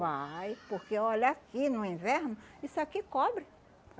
Vai, porque olha, aqui no inverno isso aqui cobre.